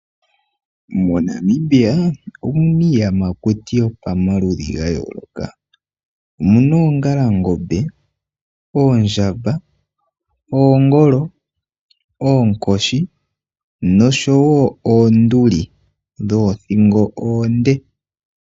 MoNamibia omu na iiyamakuti yopamaludhi ga yooloka. Omu na oongalangombe, oondjamba, oongolo, oonkoshi nosho wo oonduli dhoothingo oonde.